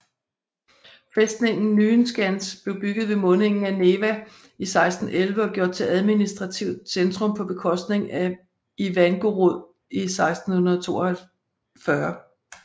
Fæstningen Nyenskans blev bygget ved mundingen af Neva 1611 og gjort til administrativt centrum på bekostning af Ivangorod 1642